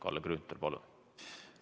Kalle Grünthal, palun!